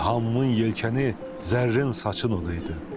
İlhamımın yelkəni zərrin saçın olaydı.